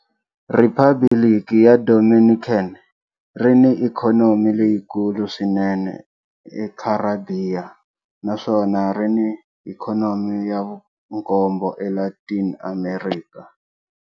Riphabliki ra Dominican ri ni ikhonomi leyikulu swinene eKharibiya naswona ri ni ikhonomi ya vunkombo eLatin Amerika.